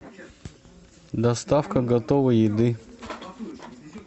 доставка готовой еды